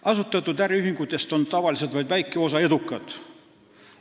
Asutatud äriühingutest on tavaliselt vaid väike osa edukad.